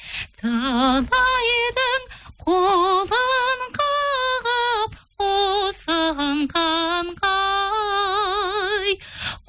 талайдың қолын қағып ұсынғанға ай